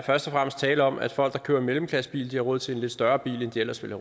først og fremmest tale om at folk der kører mellemklassebil har råd til en lidt større bil end de ellers ville